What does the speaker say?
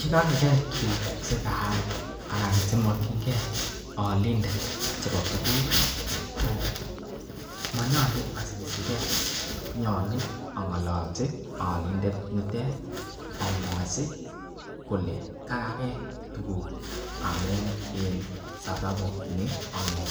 Ye kaigake tugak che kaal anan chemokinge olindet chebo tuguk monyolu asisike nyolu ang'olochi olindet nitet amwochi kole kagake tuguk amun en sababu ni ak ni.